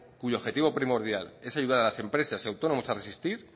cuyo objetivo primordial es ayudar a las empresas y autónomos a resistir